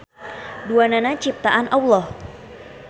Duanana ciptaan Alloh.